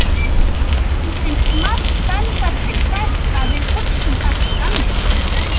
Honum finnst margt benda til þess að við hugsum ekki þannig.